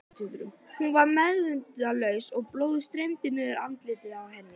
Hún var meðvitundarlaus og blóðið streymdi niður andlitið á henni.